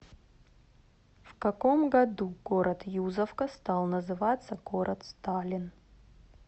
в каком году город юзовка стал называться город сталин